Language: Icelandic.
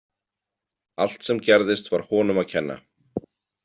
Allt sem gerðist var honum að kenna.